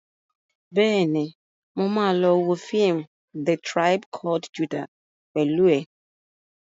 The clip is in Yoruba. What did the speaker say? Bẹ́ẹ̀ni, mo ma lọ wo fíìmù "The tribe called Judah" pẹ̀lú ẹ̀